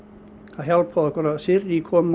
það hjálpaði okkur að Sirrý kom